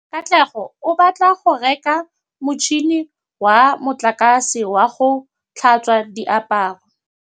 Katlego o batla go reka motšhine wa motlakase wa go tlhatswa diaparo.